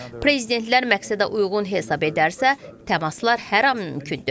Prezidentlər məqsədəuyğun hesab edərsə, təmaslar hər an mümkündür.